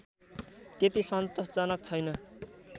त्यति सन्तोषजनक छैन